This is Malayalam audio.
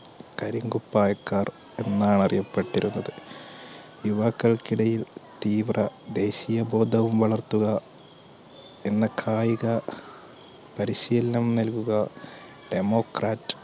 കരിങ്കുപ്പായക്കാർ എന്നാണ് അറിയപ്പെട്ടിരുന്നത് യുവാക്കൾക്കിടയിൽ തീവ്ര ദേശീയ ബോധം വളർത്തുക എന്ന കായിക പരിശീലനം നൽകുക democrat